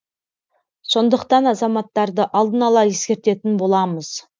сондықтан азаматтарды алдына ала ескертетін боламыз